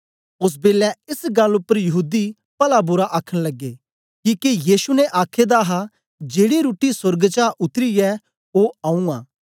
ओस बेलै एस गल्ल उपर यहूदी पलाबुरा आखन लगे किके येशु ने आखे दा हा जेड़ी रुट्टी सोर्ग चा उत्तरी ऐ ओ आऊँ आं